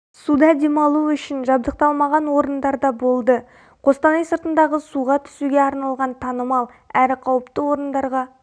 суда демалу үшін жабдықталмаған орындарда болды қостанай сыртындағы суға түсуге арналған танымал әрі қауіпті орындарға